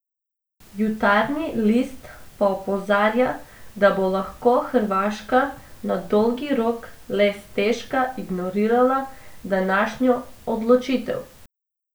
Jutarnji list pa opozarja, da bo lahko Hrvaška na dolgi rok le stežka ignorirala današnjo odločitev.